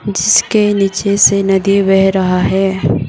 जिसके नीचे से नदी बह रहा हैं।